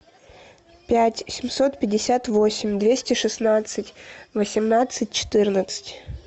пять семьсот пятьдесят восемь двести шестнадцать восемнадцать четырнадцать